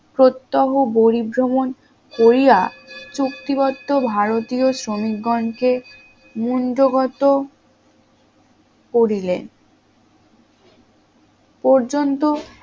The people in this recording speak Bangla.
প্রত্যহ পরিভ্রমণ করিয়া চুক্তিবদ্ধ ভারতীয় শ্রমিকগণকে মুঙ্গোগটো করিলেন পর্যন্ত